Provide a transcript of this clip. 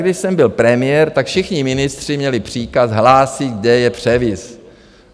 Když jsem byl premiér, tak všichni ministři měli příkaz hlásit, kde je převis.